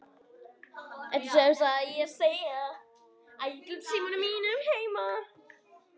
Ertu sem sagt að segja.